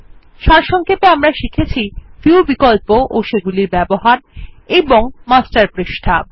সারসংক্ষেপে আমরা শিখেছি ভিউ বিকল্প ও সেগুলির ব্যবহার এবং মাস্টার পৃষ্ঠা